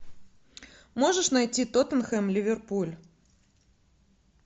можешь найти тоттенхэм ливерпуль